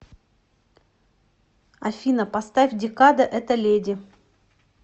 афина поставь декада эта леди